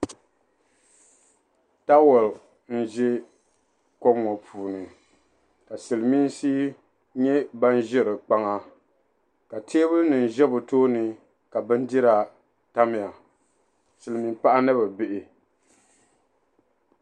Taawa n-ʒi kom ŋɔ puuni ka silimiinsi nyɛ ban ʒe di kpaŋa ka teebulinima ʒe bɛ tooni ka bindira tamya silimiinpaɣa ni bɛ bihi.